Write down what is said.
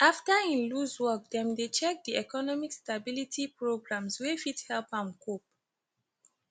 after im lose work dem dey check di economic stability programs wey fit help am cope